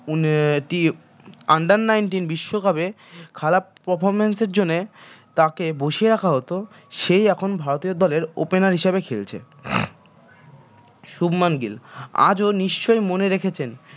under nineteen বিশ্বকাপে খারাপ performance এরজন্যে তাকে বসিয়ে রাখা হত সেই এখন ভারতীয় দলের opener হিসেবে খেলছে শুভমান গিল আজও নিশ্চয়ই মনে রেখেছেন